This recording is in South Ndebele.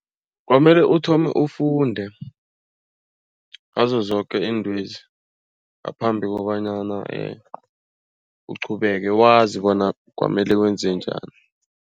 Kwamele uthome ufunde ngazo zoke iintwezi ngaphambi kobanyana uqhubeke. Wazi bona kwamele wenze njani.